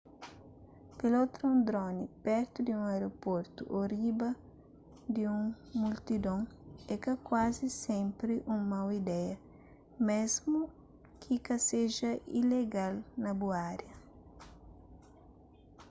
pilota un drone pertu di un aeroportu ô riba di un multidon é ka kuazi sénpri un mau ideia mésmu ki ka seja ilegal na bu ária